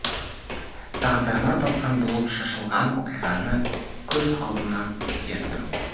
тағдырына талқан болып шашылған оқиғаны көз алдымнан өткердім